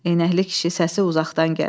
Eynəkli kişi səsi uzaqdan gəlir.